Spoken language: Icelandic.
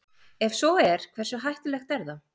Ef svo er hversu hættulegt er það?